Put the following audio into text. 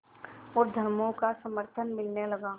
और धर्मों का समर्थन मिलने लगा